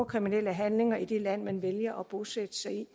kriminelle handlinger i det land man vælger at bosætte sig i